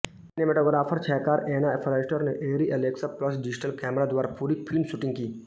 cinematographer छायाकार Anna Foerster ने ARRI Alexa plus digital कैमरों द्वारा पूरी फ़िल्म शूटिंग की